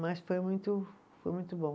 Mas foi muito, foi muito bom